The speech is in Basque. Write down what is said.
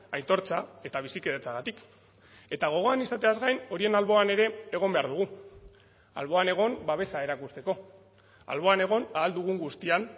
aitortza eta bizikidetzagatik eta gogoan izateaz gain horien alboan ere egon behar dugu alboan egon babesa erakusteko alboan egon ahal dugun guztian